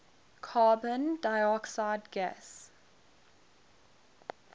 carbon dioxide gas